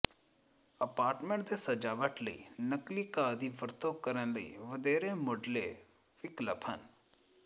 apartment ਦੇ ਸਜਾਵਟ ਲਈ ਨਕਲੀ ਘਾਹ ਦੀ ਵਰਤੋਂ ਕਰਨ ਲਈ ਵਧੇਰੇ ਮੁਢਲੇ ਵਿਕਲਪ ਹਨ